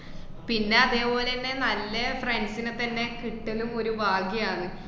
പിന്നെ അതേപോലന്നെ നല്ല friends നെത്തന്നെ കിട്ടലും ഒരു ഭാഗ്യാണ്.